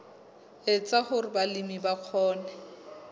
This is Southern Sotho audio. etsa hore balemi ba kgone